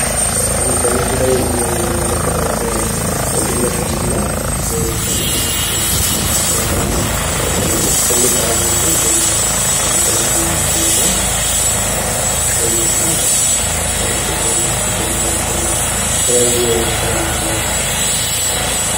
በምስሉ ላይ የምንመለከታት የድመት ምስል ስትሆን ፤ መጠኗ በጣም ትልቅ ያልሆነችና መካከለኛ መጠን ያላት ናት። እንዲሁም በቀይ፣ በጥቁርና በነጭ ቀለሞች የተዝገረገረች ናት።